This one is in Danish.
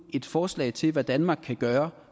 et forslag til hvad danmark kan gøre